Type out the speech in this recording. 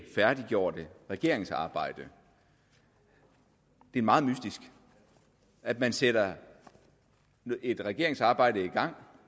færdiggjorte regeringsarbejde det er meget mystisk at man sætter et regeringsarbejde i gang